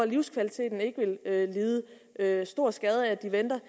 livskvaliteten ikke vil lide lide stor skade af at de venter